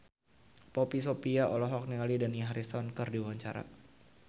Poppy Sovia olohok ningali Dani Harrison keur diwawancara